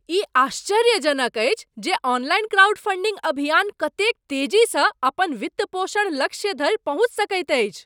ई आश्चर्यजनक अछि जे ऑनलाइन क्राउडफंडिंग अभियान कतेक तेजीसँ अपन वित्तपोषण लक्ष्य धरि पहुँचि सकैत अछि।